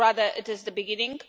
rather, it is the beginning.